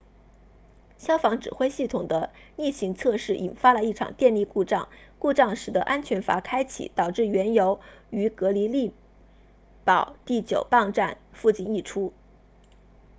消防指挥系统的例行测试引发了一场电力故障故障使得安全阀开启导致原油于格里利堡 fort greely 第9泵站附近溢出